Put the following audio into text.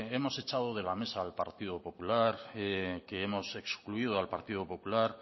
hemos echado de la mesa al partido popular que hemos excluido al partido popular